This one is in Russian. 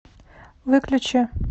выключи